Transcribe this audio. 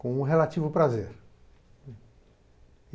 com um relativo prazer.